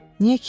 Niyə ki?